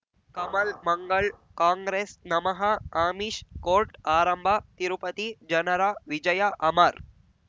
Kamal Mangal Congress ನಮಃ Amish court ಆರಂಭ ತಿರುಪತಿ ಜನರ ವಿಜಯ ಅಮರ್